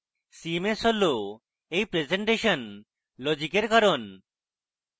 cms হল এই presentation লজিকের কারণ